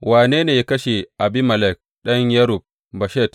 Wane ne ya kashe Abimelek ɗan Yerub Beshet?